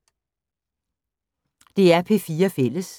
DR P4 Fælles